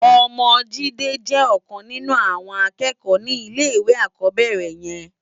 Òmò Jide jè òkan ninú áwòn ákèékò ni ilé iwé ákòbèrè yèn